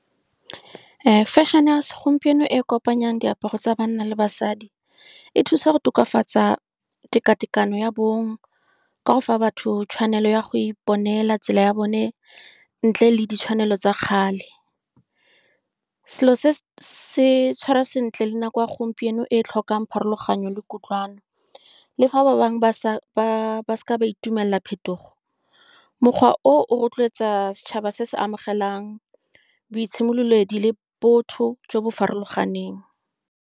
Fashion-e ya segompieno e e kopanyang diaparo tsa banna le basadi e thusa go tokafatsa teka-tekano ya bong, ka go fa batho tshwanelo ya go iponela tsela ya bone, ntle le ditshwanelo tsa kgale. Selo se se tshwara sentle, le nako ya gompieno e tlhokang pharologanyo le kutlwano. Le fa ba bangwe ba sa, ba se ke ba itumelela phetogo, mokgwa o of rotloetsa setšhaba se se amogelang boitshimololedi le botho jo bo farologaneng.